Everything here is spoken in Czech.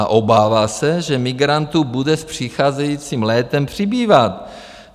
A obává se, že migrantů bude s přicházejícím létem přibývat.